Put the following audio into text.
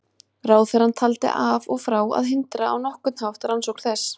Ráðherrann taldi af og frá að hindra á nokkurn hátt rannsókn þess.